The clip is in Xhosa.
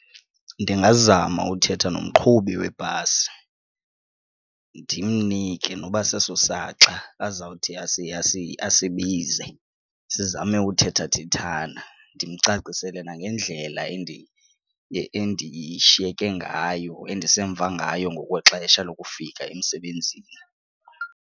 Ndingazama uthetha nomqhubi webhasi ndimnike noba seso saxa azawuthi asibize sizame ukuthethathethana ndimcacisele nangendlela endishiyeke ngayo endisemva ngayo ngokwexesha lokufika emsebenzini.